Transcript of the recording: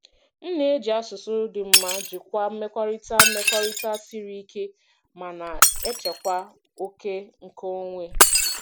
M na-eji asụsụ dị mma jikwaa mmekọrịta mmekọrịta siri ike ma na-echekwa oke nkeonwe.